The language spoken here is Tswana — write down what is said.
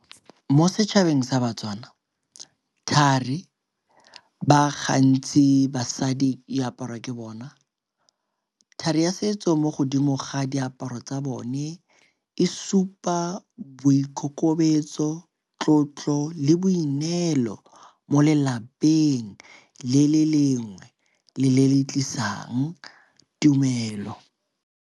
Mo setšhabeng sa baTswana, thari ba gantsi basadi e aparwa ke bona. Thari ya setso mo godimo ga diaparo tsa bone e supa boikokobetso, tlotlo le boineelo mo lelapeng le le lengwe le le le tlisang tumelo.